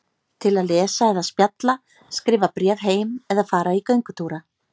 Til að lesa eða spjalla, skrifa bréf heim eða fara í göngutúra.